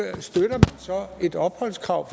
et opholdskrav